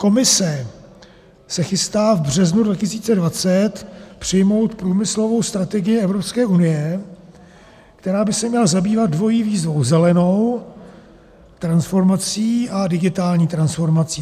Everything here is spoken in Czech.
Komise se chystá v březnu 2020 přijmout průmyslovou strategii Evropské unie, která by se měla zabývat dvojí výzvou: zelenou transformací a digitální transformací.